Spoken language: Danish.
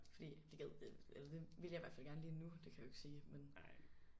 Fordi det gad eller det vil jeg i hvert fald gerne lige nu det kan jeg jo ikke sige men